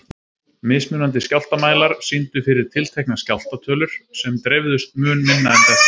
Mismunandi skjálftamælar sýndu fyrir tiltekna skjálfta tölur sem dreifðust mun minna en þetta.